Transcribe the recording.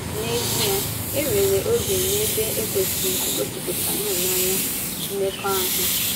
N’ezìe, e nwere oge na ebe e kwesị̀rị igosipụta hụ́nanya mmekọahụ.